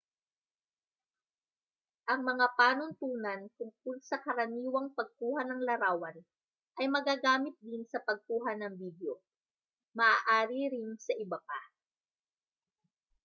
ang mga panuntunan tungkol sa karaniwang pagkuha ng larawan ay magagamit din sa pagkuha ng bidyo maaari ring sa iba pa